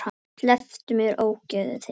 Slepptu mér, ógeðið þitt!